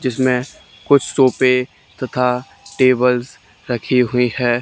जिसमें कुछ सोफे तथा टेबल्स रखी हुई है।